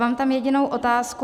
Mám tam jedinou otázku.